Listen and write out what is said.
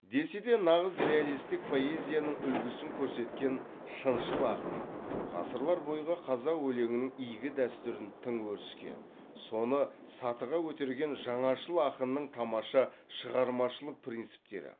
десе де нағыз реалистік поэзияның үлгісін көркеткен шыншыл ақынның ғасырлар бойғы қазақ өлеңінің игі дәстүрін тың өріске соны сатыға көтерген жаңашыл ақынның тамаша шығармашылық принциптері